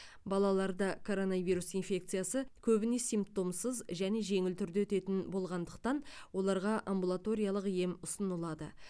балаларда коронавирус инфекциясы көбіне симптомсыз және жеңіл түрде өтетін болғандықтан оларға амбулаториялық ем ұсынылады